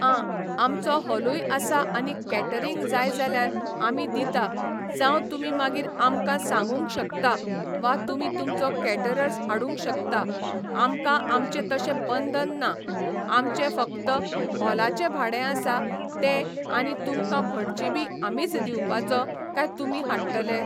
आं आमचो हॉलूय आसा आनी कॅटरिंग जाय जाल्यार आमी दिता जावं तुमी मागीर आमकां सांगूंक शकता वा तुमी तुमचो कॅटरर्स हाडूंक शकता आमकां आमचें तशें बंधन ना आमचें फक्त हॉलाचें भाडें आसा तें आनी तुमकां भटजी बी आमीच दिवपाचो काय तुमी हाडटले